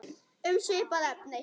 Um svipað efni